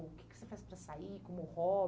O que que você faz para sair, como